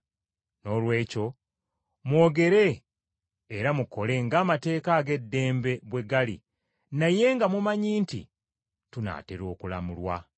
Noolwekyo mwogere era mukole ng’amateeka ag’eddembe bwe gali naye nga mumanyi nti tunaatera okulamulwa.